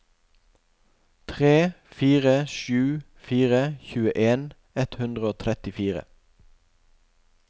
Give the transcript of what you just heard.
tre fire sju fire tjueen ett hundre og trettifire